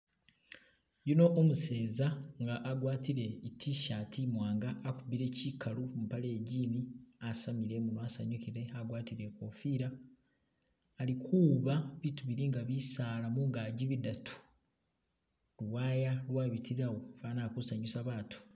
Yuno umuseza agwatile i tshirt imwanga akubile chikalu mupaale iye jean asamiile imunwa asanyukile agwatile ikofila alikuwuuba biitu bili nga bisaala mungaki bidaatu , liwaaya lwabitalawo, fwana ali kusanyusa baatu.